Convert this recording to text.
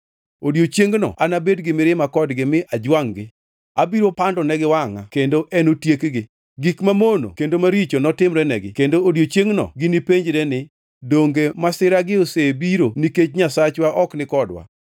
Odiechiengno anabed gi mirima kodgi mi ajwangʼ-gi, abiro pandonegi wangʼa kendo enotiekgi. Gik mamono kendo maricho notimrenegi kendo odiechiengno ginipenjre ni, ‘Donge masiragi osebiro nikech Nyasachwa ok nikodwa?’